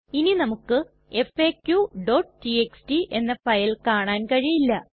ഇനി നമുക്ക് faqടിഎക്സ്ടി എന്ന ഫയൽ കാണാൻ കഴിയില്ല